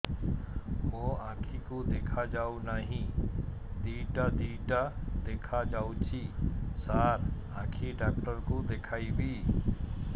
ମୋ ଆଖିକୁ ଦେଖା ଯାଉ ନାହିଁ ଦିଇଟା ଦିଇଟା ଦେଖା ଯାଉଛି ସାର୍ ଆଖି ଡକ୍ଟର କୁ ଦେଖାଇବି